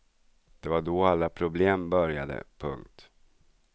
Det var då alla problem började. punkt